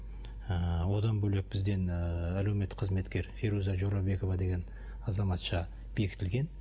ы одан бөлек бізден ыыы әлеуметтік қызметкер феруза жорабекова деген азаматша бекітілген